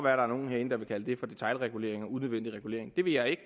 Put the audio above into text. er nogle herinde der vil kalde det for detailregulering og unødvendig regulering det vil jeg ikke